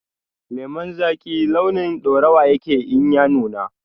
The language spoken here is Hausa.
Lemon zaki launin ɗaurawa yake in ya nuna